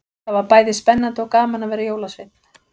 Það var bæði spennandi og gaman að vera jólasveinn.